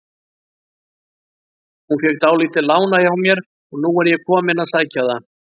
Hún fékk dálítið lánað hjá mér og nú er ég kominn að sækja það.